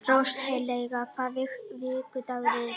Róselía, hvaða vikudagur er í dag?